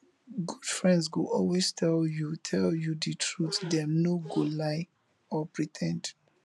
good friends go always tell you tell you de truth dem no go lie or pre ten d